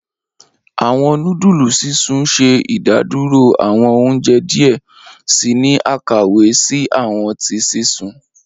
Awọn nudulu sisun ṣe idaduro awọn ounjẹ diẹ sii ni akawe si awọn ti sisun.